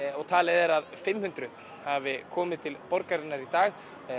og talið er að fimm hundruð hafi komið til borgarinnar í dag